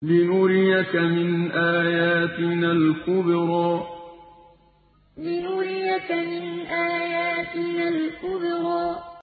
لِنُرِيَكَ مِنْ آيَاتِنَا الْكُبْرَى لِنُرِيَكَ مِنْ آيَاتِنَا الْكُبْرَى